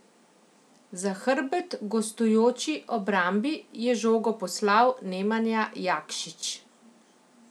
Za hrbet gostujoči obrambi je žogo poslal Nemanja Jakšić.